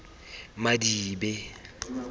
madibe